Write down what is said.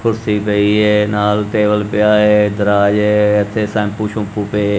ਕੁਰਸੀ ਪਈ ਐ ਨਾਲ ਟੇਬਲ ਪਿਆ ਐ। ਦਰਾਜ ਐ ਇੱਥੇ ਸ਼ੈਂਪੂ ਸ਼ੁੰਪੂ ਪਏ --